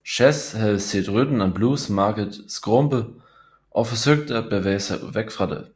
Chess havde set rhythm and blues markedet skrumpe og forsøgte at bevæge sig væk fra det